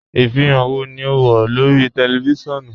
Ifihan wọ́ ni o n wọ lórí tẹlifísiọnu?